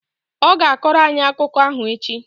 Ọ ga-akọrọ anyị akụkọ ahụ echi